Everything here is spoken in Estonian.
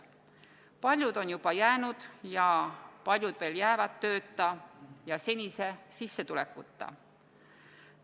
Paljud on juba jäänud ja paljud veel jäävad tööta ja senise sissetulekuta.